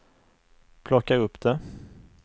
plocka upp det